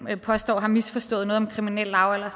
påstår har misforstået noget om kriminel lavalder og